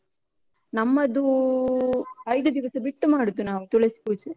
ನಮ್ಮದೂ, ಐದು ದಿವಸ ಬಿಟ್ಟು ಮಾಡುದು ನಾವು ತುಳಸಿ ಪೂಜೆ.